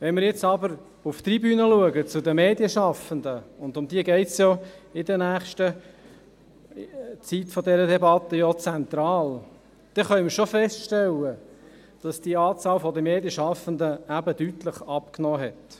Wenn wir zur Tribüne blicken, zu den Medienschaffenden, um welche es ja in der nächsten Zeit dieser Debatte zentral geht, können wir schon feststellen, dass die Anzahl der Medienschaffenden deutlich abgenommen hat.